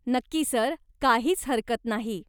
नक्की सर, काहीच हरकत नाही.